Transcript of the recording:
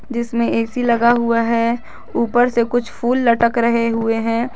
जिसमें ए_सी लगा हुआ है ऊपर से कुछ फूल लटक रहे हुए हैं।